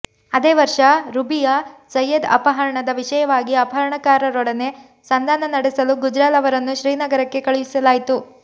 ಅದೇ ವರ್ಷ ರುಬಿಯ ಸಯೇದ್ ಅಪಹರಣದ ವಿಷಯವಾಗಿ ಅಪಹರಣಕಾರರೊಡನೆ ಸಂಧಾನ ನಡೆಸಲು ಗುಜ್ರಾಲ್ ಅವರನ್ನು ಶ್ರೀನಗರಕ್ಕೆ ಕಳಿಸಲಾಯಿತು